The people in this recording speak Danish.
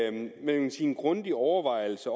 anledning til en grundig overvejelse